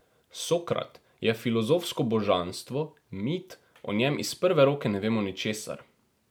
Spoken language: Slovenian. Sokrat je filozofsko božanstvo, mit, o njem iz prve roke ne vemo ničesar.